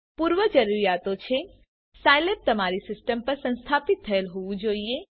પૂર્વજરૂરીયાતો છે સાઈલેબ તમારી સિસ્ટમ પર સંસ્થાપિત થયેલ હોવું જોઈએ